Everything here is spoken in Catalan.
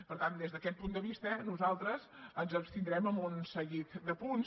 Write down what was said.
per tant des d’aquest punt de vista nosaltres ens abstindrem en un seguit de punts